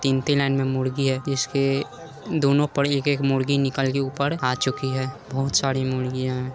तीन-तीन में मुर्गी हैं इसके दोनो पर एक-एक मुर्गी निकल कर ऊपर आ चुकी है बहोत सारी मुर्गियां है।